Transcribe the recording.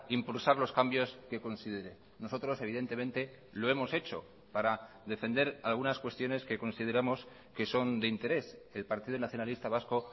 impulsar los cambios que considere nosotros evidentemente lo hemos hecho para defender algunas cuestiones que consideramos que son de interés el partido nacionalista vasco